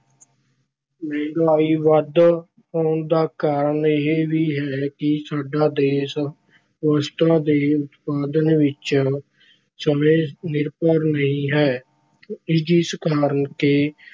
ਮਹਿੰਗਾਈ ਵੱਧ ਹੋਣ ਦਾ ਕਾਰਨ ਇਹ ਵੀ ਹੈ ਕਿ ਸਾਡਾ ਦੇਸ਼ ਵਸਤਾਂ ਦੇ ਉਤਪਾਦਨ ਵਿੱਚ ਸਵੈ-ਨਿਰਭਰ ਨਹੀਂ ਹੈ, ਜਿਸ ਕਰਕੇ